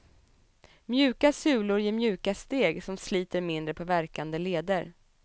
Mjuka sulor ger mjuka steg som sliter mindre på värkande leder.